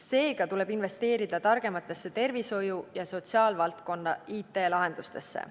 Seega tuleb investeerida targematesse tervishoiu ja sotsiaalvaldkonna IT-lahendustesse.